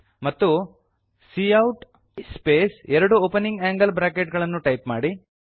ಮತ್ತು quote space ಎರಡು opening angle bracket ಗಳನ್ನು ಟೈಪ್ ಮಾಡಿ